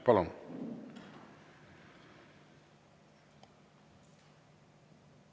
Palun!